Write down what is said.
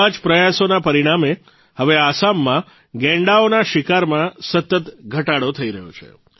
એવા જ પ્રયાસોના પરિણામે હવે આસામમાં ગેંડાઓના શિકારમાં સતત ઘટાડો થઇ રહ્યો છે